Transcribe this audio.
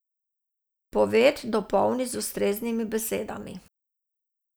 Poved dopolni z ustreznimi besedami.